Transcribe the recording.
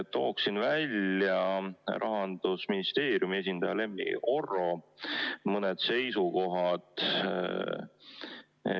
Tooksin välja mõned Rahandusministeeriumi esindaja Lemmi Oro seisukohad.